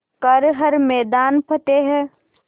कर हर मैदान फ़तेह